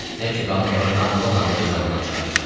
Nə ki qanın var damla-damla canından çıxaracam.